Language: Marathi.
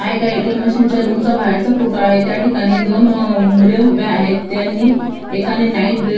हा एका ए.टी.एम. मशीन च्या रूम चा बाहेरचा फोटो आहे त्या ठिकाणी दोन अ मुले उभे आहेत त्यांनी एकाने नाइट ड्रे--